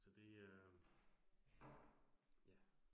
Så det er. Ja